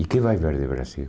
E o que vai ver de Brasil?